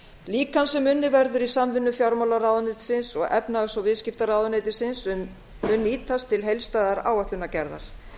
líkan sem unnið verður í sam vinnu fjármálaráðuneytisins og efnahags og viðskiptaráðuneytisins mun nýtast til heildstæðrar áætlunargerðar